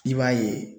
I b'a ye